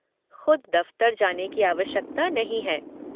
ख़ुद दफ़्तर जाने की आवश्यकता नहीं है।